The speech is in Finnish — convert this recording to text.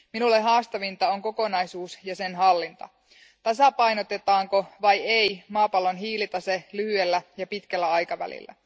Minulle haastavinta on kokonaisuus ja sen hallinta, tasapainotetaanko vai ei maapallon hiilitase lyhyellä ja pitkällä aikavälillä.